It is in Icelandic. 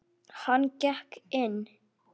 Hann gekk inn.